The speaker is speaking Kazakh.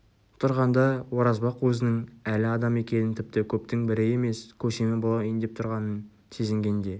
тұрғанда оразбақ өзінің әлі адам екенін тіпті көптің бірі емес көсемі болайын деп тұрғанын сезінгенде